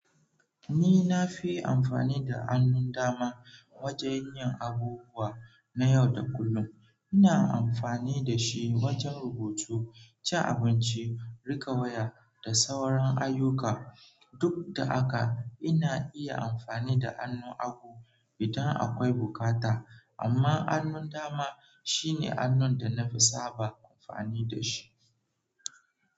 Ni na fi amfani da hannun dama wajen yin abubuwa na yau da kullum. Ina amfani da shi wajen rubutu, cin abinci, riƙe waya da sauran ayyuka. Duk da haka, ina iya amfani da hannun hagu idan akwai bukata, amma hannun dama shine hannun da na fi saba amfani da shi.